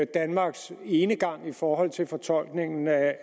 danmarks enegang i forhold til fortolkningen af